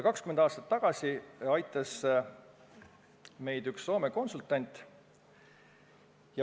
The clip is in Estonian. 20 aastat tagasi aitas meid üks Soome konsultant.